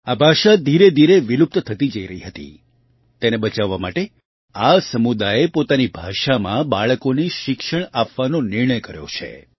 આ ભાષા ધીરેધીરે વિલુપ્ત થતી જઈ રહી હતી જેને બચાવવા માટે આ સમુદાયે પોતાની ભાષામાં બાળકોને શિક્ષણ આપવાનો નિર્ણય કર્યો છે